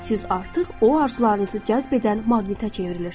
siz artıq o arzularınızı cəzb edən maqnitə çevrilirsiz.